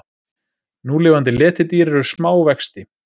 Núlifandi letidýr eru smá vexti.